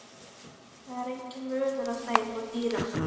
Það er enginn munur á þeim og dýrum.